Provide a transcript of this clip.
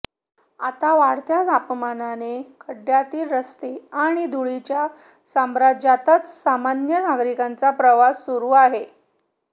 आता वाढत्या तापामाने खड्ड्यातील रस्ते आणि धुळीच्या साम्राज्यातच सामान्य नगारिकांचा प्रवास आता सुरू आहे